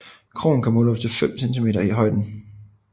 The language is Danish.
Krogen kan måle op til 5 centimeter i højden